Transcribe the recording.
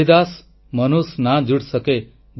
ରୈଦାସ ମନୁଷ ନା ଯୁଡ୍ ସକେ